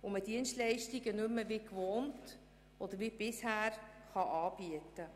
und man bisherige Dienstleistungen nicht mehr wie gewohnt anbieten kann.